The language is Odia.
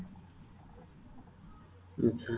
ଆଛା